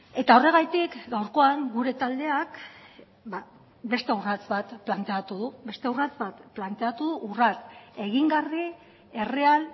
eta horregatik gaurkoan gure taldeak beste urrats bat planteatu du beste urrats bat planteatu urrats egingarri erreal